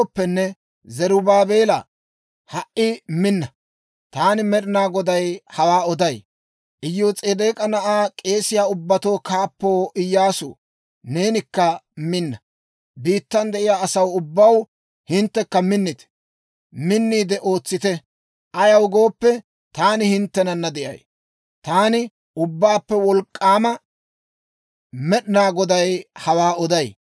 « ‹Zarubaabeelaa, ha"i minna! Taani Med'inaa Goday hawaa oday. Iyos'edeek'a na'aw, k'eesiyaa ubbatuu kaappoo Iyyaasuu, neenikka minna! Biittan de'iyaa asaa ubbaw, hinttekka minnite! Minniide ootsite; ayaw gooppe, taani hinttenana de'ay. Taani Ubbaappe Wolk'k'aama Med'inaa Goday hawaa oday.